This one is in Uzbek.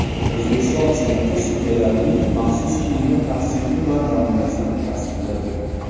O‘zbekiston Senati sudyalarning maxsus kiyimi tavsifi va namunasini tasdiqladi.